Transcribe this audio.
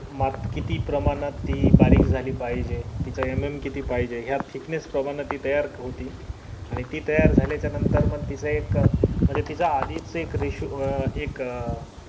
मात किती प्रमाणात ती बारीक झाली पाहिजे तिचा mm किती पाहिजे या thickness प्रमाणात ती तयार होती आणि ती तयार झाल्या च्या नंतर मंग तिचा एक म्हणजे तिचा आधीच एक ratio अं एक